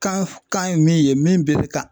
Kan f kan ye min ye min bee be ka